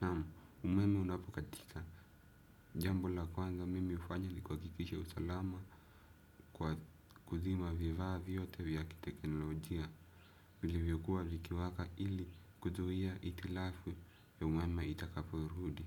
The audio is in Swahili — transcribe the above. Naam, umeme unapokatika jambo la kwanza mimi hufanya nikuhakikisha usalama kwa kuzima vivaa vyote vya kiteknolojia vilivyokua vikiwaka ili kuzuhia itilafwe ya umeme itakaporudi.